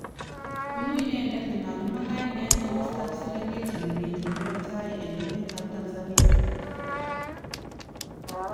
Bunu inendet nemakimwa kainet komastab Serengeti nemiten muroot tai en emet ab Tanzania